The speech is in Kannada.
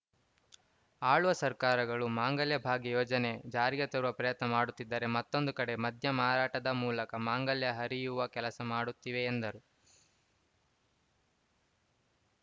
ಆಳುವ ಸರ್ಕಾರಗಳು ಮಾಂಗಲ್ಯ ಭಾಗ್ಯ ಯೋಜನೆ ಜಾರಿಗೆ ತರುವ ಪ್ರಯತ್ನ ಮಾಡುತ್ತಿದ್ದರೆ ಮತ್ತೊಂದು ಕಡೆ ಮದ್ಯ ಮಾರಾಟದ ಮೂಲಕ ಮಾಂಗಲ್ಯ ಹರಿಯುವ ಕೆಲಸ ಮಾಡುತ್ತಿವೆ ಎಂದರು